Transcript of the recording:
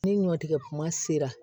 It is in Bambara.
Ni ɲɔtigɛ kuma sera